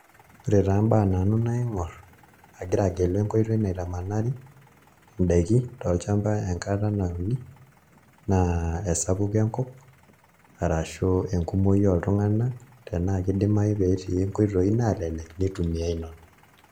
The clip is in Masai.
Ore taa mbaa nanu naing'orr agira agelu enkoitoi naitamanari ndaiki tolchamba nauni naa esapuko enkop arashu enkumoii oltung'anak tenaa kidimayu pee etii nkoitoi naalelek nitumiai nena.